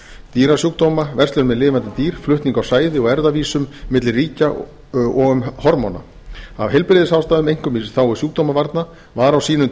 dýrasjúkdóma verslun með lifandi dýr flutning á sæði og erfðavísum milli ríkja og um hormóna af heilbrigðisástæðum einkum í þágu sjúkdómavarna var á sínum